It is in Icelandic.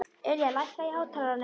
Ylja, lækkaðu í hátalaranum.